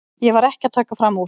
Ég var ekki að taka fram úr.